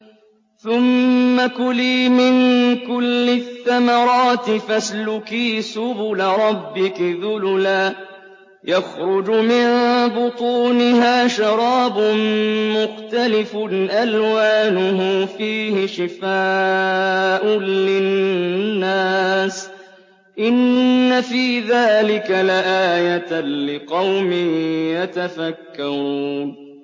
ثُمَّ كُلِي مِن كُلِّ الثَّمَرَاتِ فَاسْلُكِي سُبُلَ رَبِّكِ ذُلُلًا ۚ يَخْرُجُ مِن بُطُونِهَا شَرَابٌ مُّخْتَلِفٌ أَلْوَانُهُ فِيهِ شِفَاءٌ لِّلنَّاسِ ۗ إِنَّ فِي ذَٰلِكَ لَآيَةً لِّقَوْمٍ يَتَفَكَّرُونَ